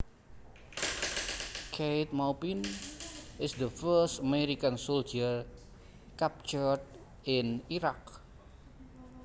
Keith Maupin is the first American soldier captured in Iraq